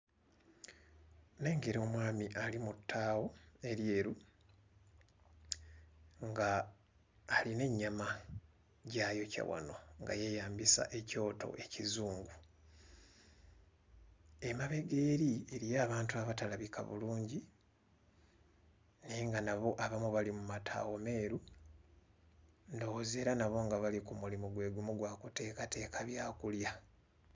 Nnengera omwami ali mu ttaawo eryeru, ng'alina ennyama gy'ayokya wano nga yeeyambisa ekyoto ekizungu. Emabega eri eriyo abantu abatalabika bulungi, naye nga nabo abamu bali mu mataawo meeru, ndowooza era nabo nga bali ku mulimu gwe gumu gwa kuteekateeka byakulya.